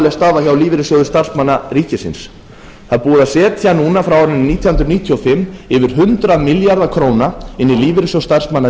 alvarlega staða hjá lífeyrissjóði starfsmanna ríkisins það er búið að setja núna frá árinu nítján hundruð níutíu og fimm yfir hundrað milljarða króna inn í lífeyrissjóð starfsmanna